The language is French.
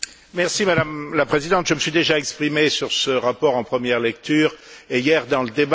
Madame la Présidente, je me suis déjà exprimé sur ce rapport en première lecture, et hier dans le débat.